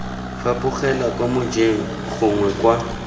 fapogelwa kwa mojeng gongwe kwa